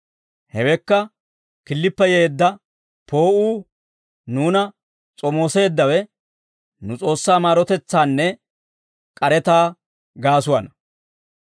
Hewekka killippe yeedda poo'uu, nuuna s'omooseeddawe, nu S'oossaa maarotetsaanne k'aretaa gaasuwaana.